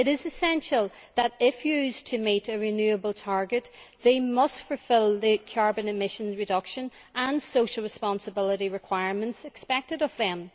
It is essential that, if used to meet a renewable target, they must fulfil the carbon emissions reduction and social responsibility requirements expected of them.